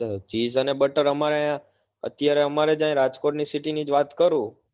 તો chise અને butter અમારે અહી અત્યારે અમારે અહી રાજકોટ ની city ની વાત કરું